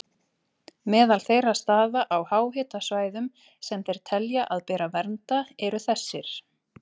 Meðal þeirra staða á háhitasvæðum sem þeir telja að beri að vernda eru þessir